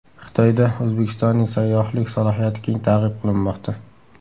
Xitoyda O‘zbekistonning sayyohlik salohiyati keng targ‘ib qilinmoqda.